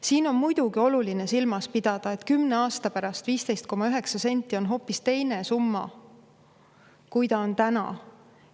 Siin on muidugi oluline silmas pidada, et 10 aasta pärast 15,9 senti on hoopis teise, kui ta on täna.